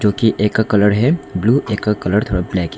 जो की एक का कलर है ब्लू और एक का कलर थोड़ा ब्लैक है।